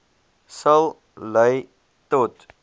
sal lei tot